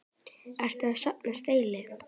Ertu að safna stelli?